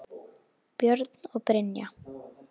Björn og Brynja.